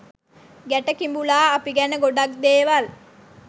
ගැට කිඹුලා අපි ගැන ගොඩක් දේවල්